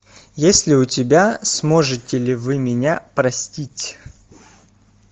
есть ли у тебя сможете ли вы меня простить